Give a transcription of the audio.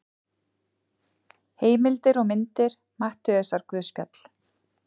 Heimildir og myndir Matteusarguðspjall.